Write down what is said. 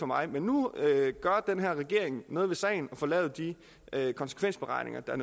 mig men nu gør den her regering noget ved sagen og får lavet de konsekvensberegninger der